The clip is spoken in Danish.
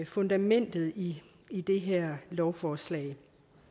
fundamentet i i det her lovforslag